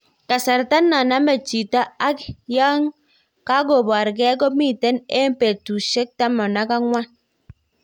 Kasartai na namenchito ak yang kakopareng komiten eng petusheng 14.